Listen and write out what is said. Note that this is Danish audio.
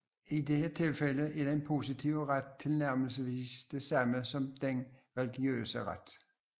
I dette tilfælde er den positive ret tilnærmelsesvis det samme som den religiøse ret